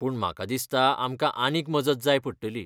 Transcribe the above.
पूण म्हाका दिसता आमकां आनीक मजत जाय पडटली.